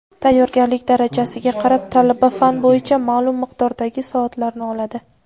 Tayyorgarlik darajasiga qarab talaba fan bo‘yicha maʼlum miqdordagi soatlarni oladi.